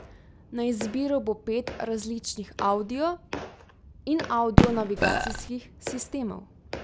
Na izbiro bo pet različnih audio in audio navigacijskih sistemov.